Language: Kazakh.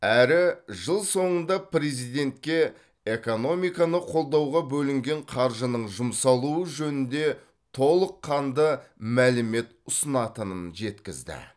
әрі жыл соңында президентке экономиканы қолдауға бөлінген қаржының жұмсалуы жөнінде толыққанды мәлімет ұсынатынын жеткізді